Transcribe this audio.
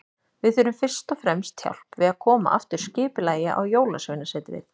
Við þurfum fyrst og fremst hjálp við að koma aftur skipulagi á Jólasveinasetrið.